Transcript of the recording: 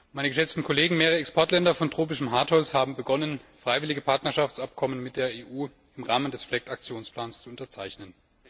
Meine geschätzten Kollegen mehrerer Exportländer von tropischem Hartholz haben begonnen, freiwillige Partnerschaftsabkommen mit der EU im Rahmen des FLEGT Aktionsplans zu unterzeichnen.